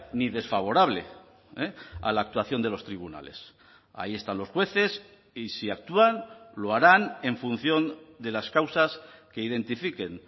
ni desfavorable a la actuación de los tribunales ahí están los jueces y si actúan lo harán en función de las causas que identifiquen